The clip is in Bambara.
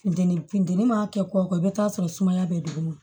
Funteni funteni ma kɛ kɔ i bɛ t'a sɔrɔ sumaya bɛ dugu ma